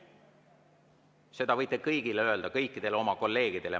Seda võite kõigile öelda, kõikidele oma kolleegidele.